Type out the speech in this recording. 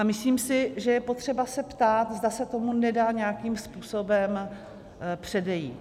A myslím si, že je potřeba se ptát, zda se tomu nedá nějakým způsobem předejít.